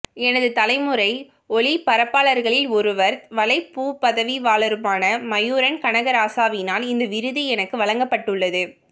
எனது தலைமுறை ஒலிபரப்பாளர்களில் ஒருவரும் வலைப்பூ பதவிவாளருமான மயூரன் கனகராசாவினால் இந்த விருது எனக்கு வழங்கப்பட்டுள்ளது